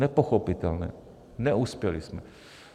Nepochopitelné - neuspěli jsme.